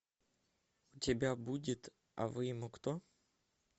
у тебя будет а вы ему кто